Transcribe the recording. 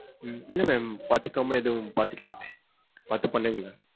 உம் இல்ல ma'am பாதுக்காம எதும் பாத்துக்கலாமமே. பாத்து பண்ணுங்க.